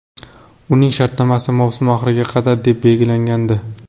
Uning shartnomasi mavsum oxiriga qadar deb belgilangandi.